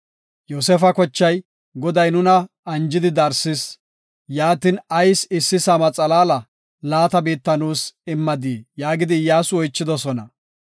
Yoosefa kochay, “Goday nuna anjidi, darsis; yaatin, ayis issi saama xalaala laata biitta nuus immadii?” yaagidi Iyyasu oychidosona.